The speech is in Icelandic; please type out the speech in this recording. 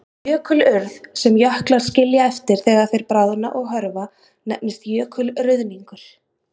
Jökulurð, sem jöklar skilja eftir þegar þeir bráðna og hörfa, nefnist jökulruðningur.